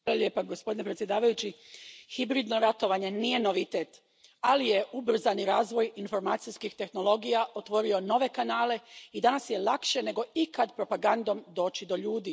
Gospodine predsjedavajući, hibridno ratovanje nije novitet, ali je ubrzani razvoj informacijskih tehnologija otvorio nove kanale i danas je lakše nego ikad propagandom doći do ljudi.